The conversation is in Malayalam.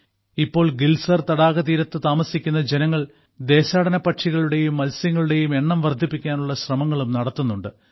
ഇപ്പോൾ ഗിൽസാർ തടാക തീരത്തു താമസിക്കുന്ന ജനങ്ങൾ ദേശാടന പക്ഷികളുടെയും മത്സ്യങ്ങളുടെയും എണ്ണം വർധിപ്പിക്കാനുള്ള ശ്രമങ്ങളും നടത്തുന്നുണ്ട്